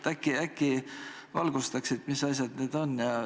Äkki valgustaksid, mis asjad need on.